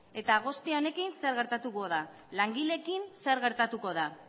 eta guzti honekin zer gertatuko da langileekin zer gertatuko da